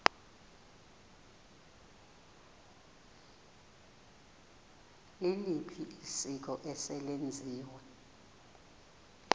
liliphi isiko eselenziwe